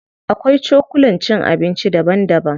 Akwai cokulan cin abinci daban daban.